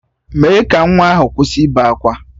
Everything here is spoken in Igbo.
Mee ka nwa ahụ kwụsị ịbe akwa!